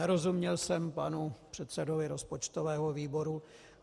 Nerozuměl jsem panu předsedovi rozpočtového výboru.